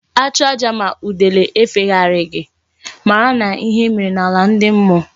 A chụọ aja ma udele efegharighi mara na ihe mere na ala ndi mmuo